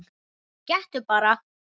Gettu bara?